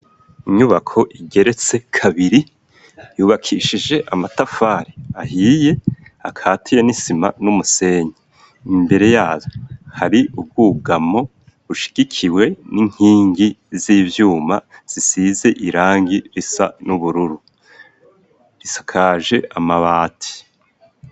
Inyubako igeretse kabiri, yubakishije amatafari ahiye akatiye n'isima n'umusenyi. Imbere yayo hari ubwugamo bushigikiwe n'inkingi z'ivyuma zisize irangi risa n'ubururu; risakaje amabati.